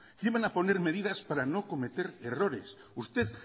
que iban a poner medidas para no cometer errores usted